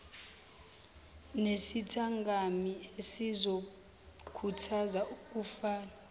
nesithangami esizokhuthaza ukufanana